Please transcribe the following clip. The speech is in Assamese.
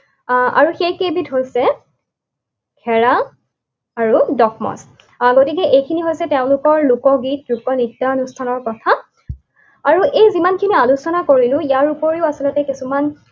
আহ আৰু সেইকেইবিধ হৈছে ঘেৰা আৰু । গতিকে এইখিনি হৈছে তেওঁলোকৰ লোকগীত, লোকনৃত্য অনুষ্ঠানৰ কথা। আৰু এই যিমানখিনি আলোচনা কৰিলো ইয়াৰ উপৰিও আচলতে কিছুমান